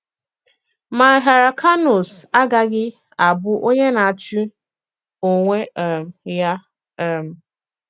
Mà Hyr̀cànus agaghị̀ abụ onye na-àchì onwè um ya. um